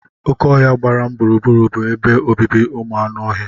Oké ọhia gbara m gburugburu bụ ebe obibi maka anụ ọhịa.